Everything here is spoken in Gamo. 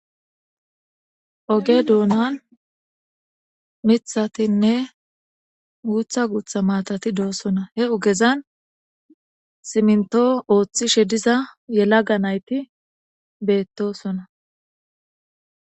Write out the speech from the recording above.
Oge duunan mithatinne guutha guutha matati doosona he ugezan siminto ooththishe diza yelaga nayti beettosona.